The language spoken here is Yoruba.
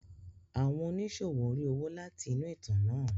Àwọn oníṣòwò ń rí owó láti inú ìtàn náà.